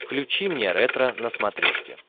включи мне ретро на смотрешке